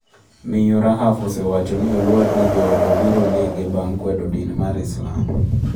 Miyo Rahaf osewacho ni oluor ni joode biro nego bang’ kwedo din mar Islam.